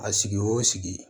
A sigi o sigi